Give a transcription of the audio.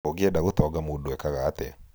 ũngĩenda gũtonga mũndũ ekaga atĩa?